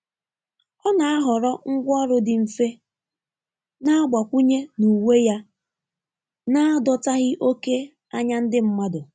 Ọ na-ahọrọ ngwaọrụ dị mfe na-agbakwụnye n'uwe ya n'adọtaghị oke anya ndi mmadu.